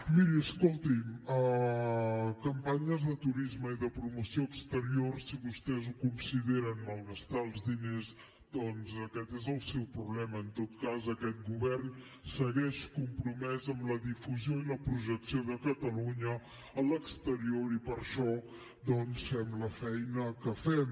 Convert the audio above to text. miri escolti’m campanyes de turisme i de promoció exterior si vostès ho consideren malgastar els diners doncs aquest és el seu problema en tot cas aquest govern segueix compromès amb la difusió i la projecció de catalunya a l’exterior i per això fem la feina que fem